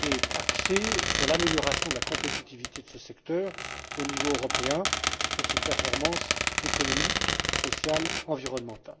est axé sur l'amélioration de la compétitivité de ce secteur au niveau européen, sur ses performances économiques, sociales et environnementales.